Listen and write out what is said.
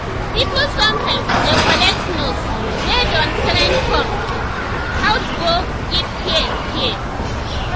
people sometimes dey collect nurse wey don train come um house go give care. care.